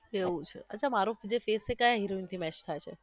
એવુ છે અચ્છા મારો જે face છે એ ક્યા heroine થી match થાય છે?